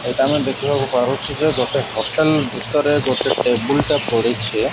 ଏଇଟା ଆମେ ଦେଖିବାକୁ ପାରୁଛୁ ଯେ ଗୋଟେ ହୋଟେଲ ଭିତରେ ଗୋଟେ ଟେବୁଲ୍ ଟେ ପଡିଛେ ।